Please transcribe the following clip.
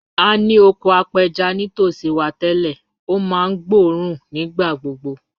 A ní oko apẹja nítòsí wa tẹ́lẹ̀, ó máa ń gbóòórùn nígbà gbogbo